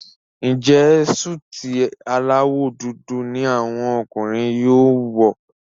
Njé Súìtì alawọ dúdú ní àwọn ọkùnrin yóò wọ?